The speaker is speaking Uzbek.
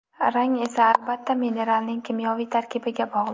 Rang esa albatta mineralning kimyoviy tarkibiga bog‘liq.